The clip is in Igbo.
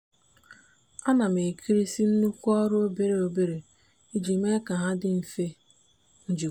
a na m ekerisị nnukwu ọrụ obere obere iji mee ka ha dị mfe njikwa.